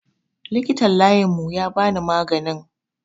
Likitan layin mu yabani maganin